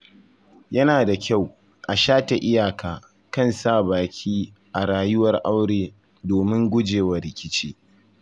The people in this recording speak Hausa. Yana da kyau a shata iyaka kan sa baki a rayuwar aure domin gujewa rikici.